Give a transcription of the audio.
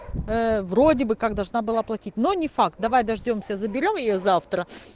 вроде бы как должна была платить но не факт давай дождёмся заберём её завтра